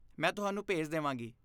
ਮੈਂ ਤੁਹਾਨੂੰ ਭੇਜ ਦੇਵਾਂਗੀ।